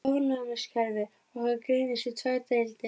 Ónæmiskerfi okkar greinist í tvær deildir.